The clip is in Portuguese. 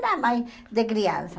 Namoro de criança.